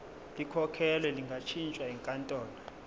likhokhelwe lingashintshwa yinkantolo